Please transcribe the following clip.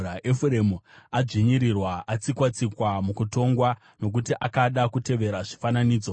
Efuremu adzvinyirirwa atsikwa-tsikwa mukutongwa, nokuti akada kutevera zvifananidzo.